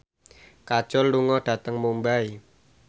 Kajol lunga dhateng Mumbai